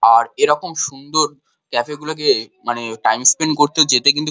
আর এরকম সুন্দর ক্যাফে গুলোকে মানে টাইম স্পেন্ড করতে যেতে কিন্তু--